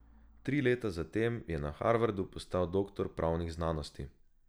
Tri leta zatem je na Harvardu postal doktor pravnih znanosti.